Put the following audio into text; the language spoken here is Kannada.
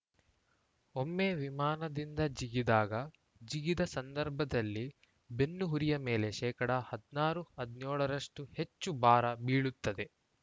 ಒಮ್ಮೆ ವಿಮಾನದಿಂದ ಜಿಗಿದಾಗ ಜಿಗಿದ ಸಂದರ್ಭದಲ್ಲಿ ಬೆನ್ನುಹುರಿಯ ಮೇಲೆ ಶೇಕಡಾ ಹದಿನಾರು ಹದಿನೇಳು ರಷ್ಟುಹೆಚ್ಚು ಭಾರ ಬೀಳುತ್ತದೆ